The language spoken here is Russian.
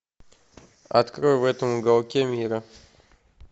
открой в этом уголке мира